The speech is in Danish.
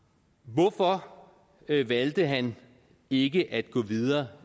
hvorfor valgte han ikke at gå videre